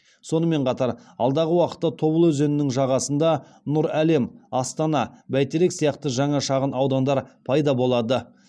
сонымен қатар алдағы уақытта тобыл өзенінің жағасында нұр әлем астана бәйтерек сияқты жаңа шағын аудандар пайда болады